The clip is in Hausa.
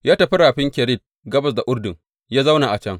Ya tafi Rafin Kerit, gabas da Urdun, ya zauna a can.